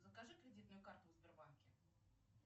закажи кредитную карту в сбербанке